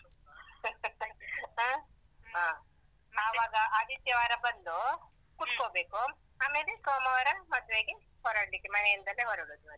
ಹ್ಮ್ ಹ. ಅವಾಗ ಆದಿತ್ಯವಾರ ಬಂದು ಕುತ್ಕೋಬೇಕು, ಆಮೇಲೆ ಮತ್ತೆ ಸೋಮವಾರ ಮದ್ವೆಗೆ ಹೊರಡ್ಲಿಕ್ಕೆ ಮನೆಯಿಂದಲೇ ಹೊರಡುದು ಮತ್ತೆ.